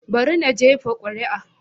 Bari na jefa kuri'a.